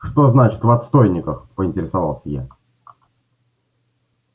что значит в отстойниках поинтересовался я